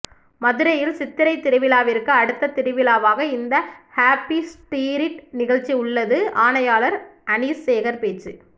மதுரையில் சித்திரை திருவிழாவிற்கு அடுத்த திருவிழாவாக இந்த ஹேப்பி ஸ்டீரிட் நிகழ்ச்சி உள்ளது ஆணையாளர் அனீஸ்சேகர் பேச்சு